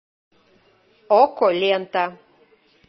окко лента